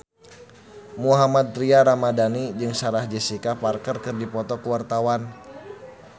Mohammad Tria Ramadhani jeung Sarah Jessica Parker keur dipoto ku wartawan